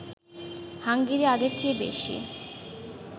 Hungary আগের চেয়ে বেশি